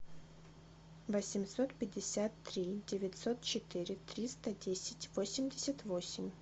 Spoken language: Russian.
восемьсот пятьдесят три девятьсот четыре триста десять восемьдесят восемь